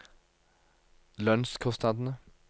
lønnskostnadene